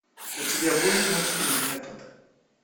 у тебя будет мультфильм метод